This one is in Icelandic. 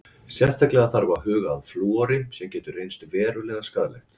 Sérstaklega þarf að huga að flúori sem getur reynst verulega skaðlegt.